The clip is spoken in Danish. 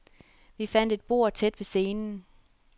Vi fandt et bord tæt ved scenen.